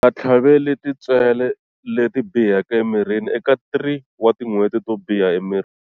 U nga tlhaveli tintswele leti biheke emirini eka 3 wa tin'hweti to biha emirini.